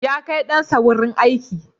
Ya kai ɗansa wurin aiki.